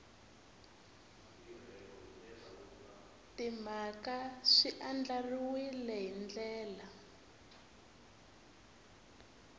timhaka swi andlariwile hi ndlela